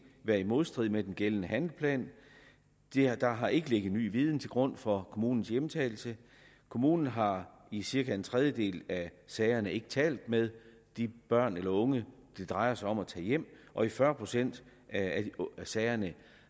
været i modstrid med den gældende handlingsplan der har ikke ligget ny viden til grund for kommunens hjemtagelse kommunen har i cirka en tredjedel af sagerne ikke talt med de børn eller unge det drejer sig om at tage hjem og i fyrre procent af sagerne